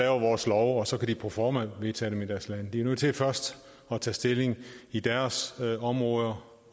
vores love og så kan de proforma vedtage dem i deres lande de er nødt til først at tage stilling i deres områder